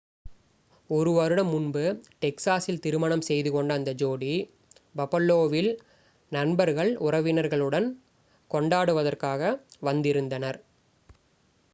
ஒரு one வருடம் முன்பு டெக்ஸாஸில் திருமணம் செய்து கொண்ட அந்த ஜோடி பஃபலோவில் நண்பர்கள் உறவினர்களுடன் கொண்டாடுவதற்காக வந்திருந்தனர்